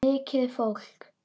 Mikið fólk.